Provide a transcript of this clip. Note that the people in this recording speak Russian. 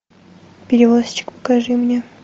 перевозчик покажи мне